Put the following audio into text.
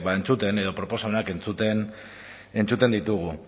entzuten edo proposamenak entzuten ditugu